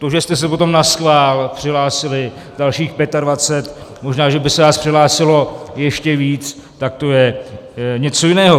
To, že jste se potom naschvál přihlásili, dalších 25, možná že by se vás přihlásilo ještě víc, tak to je něco jiného.